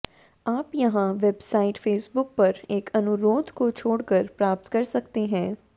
आप यहाँ website Facebook पर एक अनुरोध को छोड़ कर प्राप्त कर सकते हैं